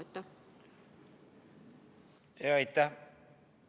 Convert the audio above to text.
Aitäh!